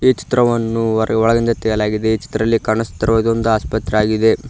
ಈ ಚಿತ್ರವನ್ನು ಹೊರ ಒಳಗಿಂದ ತೆಗೆಲಾಯಗಿದೆ ಈ ಚಿತ್ರದಲ್ಲಿ ಕಾಣಸ್ತಿರುವುದು ಒಂದು ಆಸ್ಪತ್ರೆ ಆಗಿದೆ.